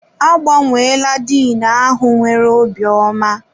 Agbanweela Diin ahụ nwere obi ọma.